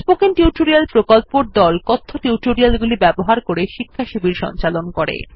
spoken tutorial প্রকল্পর দল কথ্য টিউটোরিয়াল গুলি ব্যবহার করে শিক্ষাশিবির সঞ্চালন করে